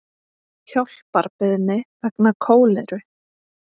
Hjálparbeiðni vegna kóleru